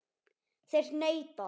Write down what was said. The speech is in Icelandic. Þeir neita.